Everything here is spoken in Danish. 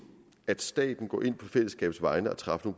at staten går ind på fællesskabets vegne og træffer